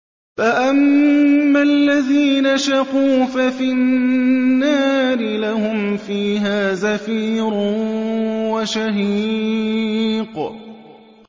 فَأَمَّا الَّذِينَ شَقُوا فَفِي النَّارِ لَهُمْ فِيهَا زَفِيرٌ وَشَهِيقٌ